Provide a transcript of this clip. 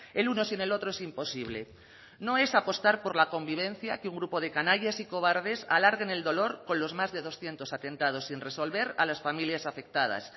el uno sin el otro es imposible no es apostar por la convivencia que un grupo de canallas y cobardes alarguen el dolor con los más de doscientos atentados sin resolver a las familias afectadas